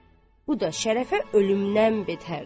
Bu da Şərəfə ölümdən betərdi.